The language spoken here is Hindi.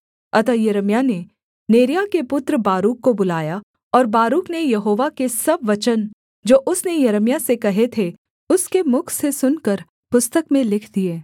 अतः यिर्मयाह ने नेरिय्याह के पुत्र बारूक को बुलाया और बारूक ने यहोवा के सब वचन जो उसने यिर्मयाह से कहे थे उसके मुख से सुनकर पुस्तक में लिख दिए